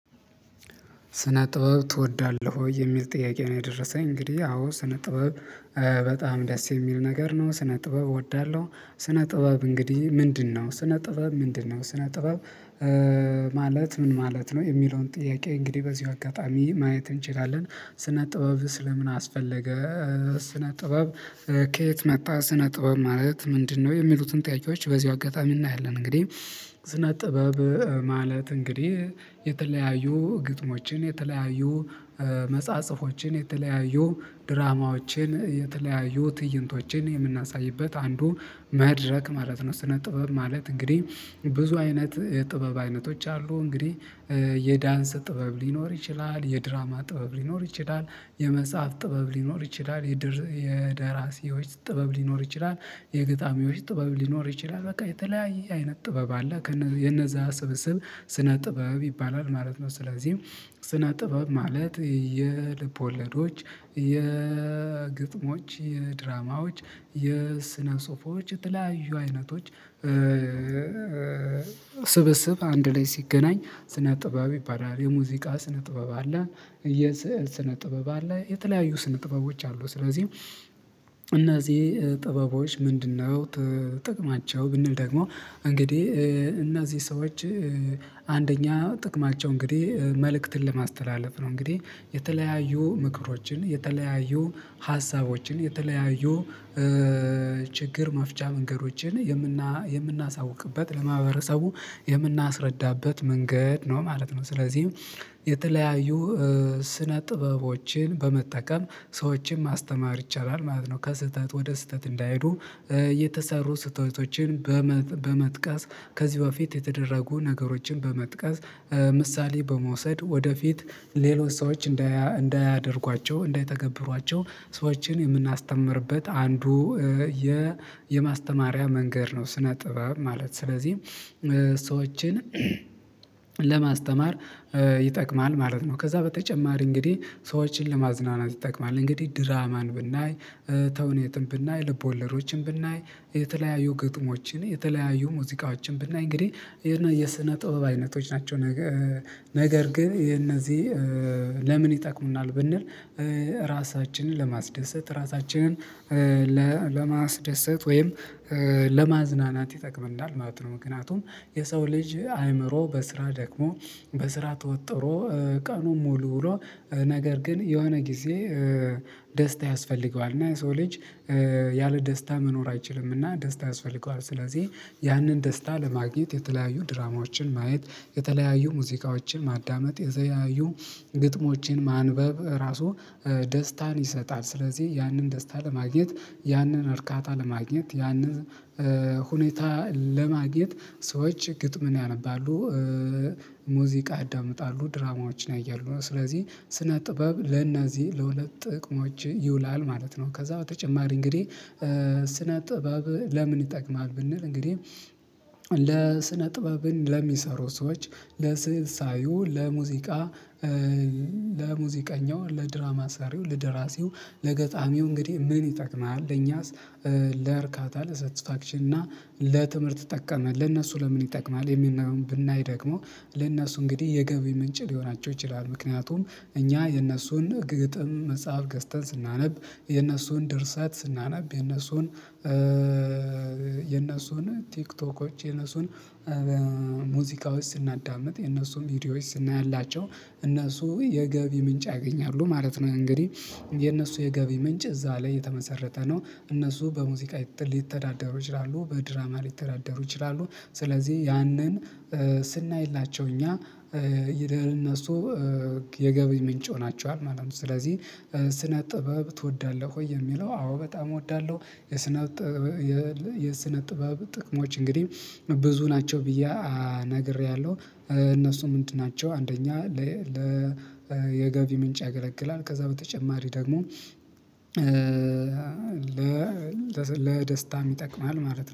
ስነ ጥበብ ትወዳለህ ወይ? የሚል ጥያቄ ነው የደረሰኝ እንግዲህ አዎ ስነ ጥበብ በጣም ደስ የሚል ነገር ነው ስነ ጥበብ እወዳለሁ። ስነ ጥበብ እንግዲህ ምንድነው ስነ ጥበብ ምንድነው ስነ ጥበብ ማለት ምን ማለት ነው? የሚለውን ጥያቄ እንግዲህ በዚሁ አጋጣሚ ማየት እንችላለን ስነ ጥበብ ስለ ምን አስፈለገ? ስነ ጥበብ ከየት መጣ ስነ ጥበብ ማለት ምንድነው? የሚሉትን ጥያቄዎች በዚሁ አጋጣሚ እናያለን። እንግዲህ ስነ ጥበብ ማለት እንግዲህ የተለያዩ ግጥሞችን የተለያዩ መጽሐፆችን የተለያዩ ድራማዎችን የተለያዩ ትይንቶችን የምናሳይበት አንዱ መድረክ ማለት ነው። ስነ ጥበብ ማለት እንግዲህ ብዙ አይነት የጥበብ አይነቶች አሉ። እንግዲህ የዳንስ ጥበብ ሊኖር ይችላል የድራማ ጥበብ ሊኖር ይችላል የመጽሐፍ ጥበብ ሊኖር ይችላል የደራሲዎች ጥበብ ሊኖር ይችላል የግጣሚዎች ጥበብ ሊኖር ይችላል በቃ የተለያየ አይነት ጥበብ አለ። የነዛ ስብስብ ስነ ጥበብ ይባላል ማለት ነው። ስለዚህ ጥበብ ማለት የልብ ወለዶች የግጥሞች የድራማዎች የስነ ጽሁፎች የተለያዩ አይነቶች ስብስብ አንድ ላይ ሲገናኝ ስነ ጥበብ ይባላል የሙዚቃ ስነ ጥበብ አለ የስዕል ስነ ጥበብ አለ የተለያዩ ስነ ጥበቦች አሉ ስለዚህ እነዚህ ጥበቦች ምንድነው? ጥቅማቸው ብንል ደግሞ እንግዲህ እነዚህ ሰዎች አንደኛ ጥቅማቸው እንግዲህ መልእክትን ለማስተላለፍ ነው እንግዲህ የተለያዩ ምክሮችን የተለያዩ ሀሳቦችን የተለያዩ ችግር መፍቻ መንገዶችን የምናሳውቅበት ለማህበረሰቡ የምናስረዳበት መንገድ ነው ማለት ነው። ስለዚህ የተለያዩ ስነ ጥበቦችን በመጠቀም ሰዎችን ማስተማር ይቻላል ማለት ነው። ከስህተት ወደ ስህተት እንዳይሄዱ የተሰሩ ስህተቶችን በመ በመጥቀስ ከዚህ በፊት የተደረጉ ነገሮችን በመጥቃስ ምሳሌ በመውሰድ ወደፊት ሌሎች ሰዎች እንዳያደርጓቸው እንዳይተገብሯቸው ሰዎችን የምናስተምርበት አንዱ የማስተማሪያ መንገድ ነው። ስነ ጥበብ ማለት ስለዚህ ሰዎችን ለማስተማር ይጠቅማል ማለት ነው። ከዛ በተጨማሪ እንግዲህ ሰዎችን ለማዝናናት ይጠቅማል እንግዲህ ድራማን ብናይ ተውኔትን ብናይ ልበወለዶችን ብናይ የተለያዩ ግጥሞችን የተለያዩ ሙዚቃዎችን ብናይ እንግዲህ የስነ ጥበብ አይነቶች ናቸው። ነገር ግን የነዚህ ለምን ይጠቅሙናል ብንል ራሳችንን ለማስደሰት ራሳችንን ለማስደሰት ወይም ለማዝናናት ይጠቅምናል። ማለት ነው ምክንያቱም የሰው ልጅ አይምሮ በስራ ደክሞ በስራ ተወጥሮ ቀኑን ሙሉ ውሎ ነገር ግን የሆነ ጊዜ ደስታ ያስፈልገዋል እና የሰው ልጅ ያለ ደስታ መኖር አይችልም። እና ደስታ ያስፈልገዋል ስለዚህ ያንን ደስታ ለማግኘት የተለያዩ ድራማዎችን ማየት የተለያዩ ሙዚቃዎችን ማዳመጥ የተለያዩ ግጥሞቼን ማንበብ ራሱ ደስታን ይሰጣል። ስለዚህ ያንን ደስታ ለማግኘት ያንን እርካታ ለማግኘት ያንን ሁኔታ ለማግኘት ሰዎች ግጥምን ያነባሉ። ሙዚቃ ያዳምጣሉ ድራማዎችን ያያሉ ስለዚህ ስነ ጥበብ ለእነዚህ ለሁለት ጥቅሞች ይውላል ማለት ነው። ከዛ በተጨማሪ እንግዲህ ስነ ጥበብ ለምን ይጠቅማል? ብንል እንግዲህ ለስነ ጥበብን ለሚሰሩ ሰዎች ለስእል ሳዩ ለሙዚቃ ለሙዚቃኛው ለድራማ ሰሪው ለደራሲው ለገጣሚው እንግዲህ ምን ይጠቅማል? ለኛስ ለእርካታ ለሰተስፋክሽን እና ለትምህርት ጠቀመ ለእነሱ ለምን ይጠቅማል? የሚለው ብናይ ደግሞ ለእነሱ እንግዲህ የገቢ ምንጭ ሊሆናቸው ይችላል። ምክንያቱም እኛ የእነሱን ግጥም መጽሐፍ ገዝተን ስናነብ የነሱን ደርሰአት ስናነብ የነሱን የነሱን ቲክቶኮች የነሱን ሙዚቃዎች ስናዳምጥ የነሱም ቪዲዮዎች ስናያላቸው እነሱ የገቢ ምንጭ ያገኛሉ ማለት ነው። እንግዲህ የነሱ የገቢ ምንጭ እዛ ላይ የተመሰረተ ነው። እነሱ በሙዚቃ ሊተዳደሩ ይችላሉ በድራማ ሊተዳደሩ ይችላሉ። ስለዚህ ያንን ስናይላቸው እኛ እነሱ የገቢ ምንጭ ሆናቸዋል ማለት ነው። ስለዚህ ስነ ጥበብ ትወዳለህ ወይ? የሚለው አዎ በጣም እወዳለሁ። የስነ የስነ ጥበብ ጥቅሞች እንግዲህ ብዙ ናቸው ብዬ ነግሬያለሁ እነሱም እንትናቸው አንደኛ ለየገቢ የገቢ ምንጭ ያገለግላል። ከዛ በተጨማሪ ደግሞ በ ደስታም ይጠቅማል ማለት ነው